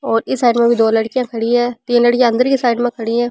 और इस साइड में भी दो लड़कियां खड़ी है तीन लड़किया अंदर की साइड खड़ी है।